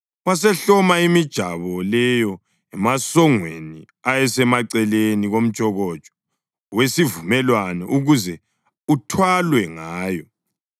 Wasehloma imijabo leyo emasongweni ayesemaceleni komtshokotsho wesivumelwano ukuze uthwalwe ngayo.